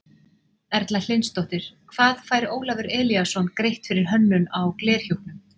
Erla Hlynsdóttir: Hvað fær Ólafur Elíasson greitt fyrir hönnun á glerhjúpnum?